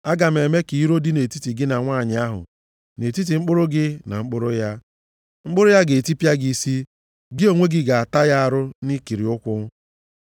Aga m eme ka iro dịrị nʼetiti gị na nwanyị ahụ, nʼetiti mkpụrụ gị na mkpụrụ ya, mkpụrụ ya ga-etipịa gị isi, gị onwe gị ga-ata ya arụ nʼikiri ụkwụ.”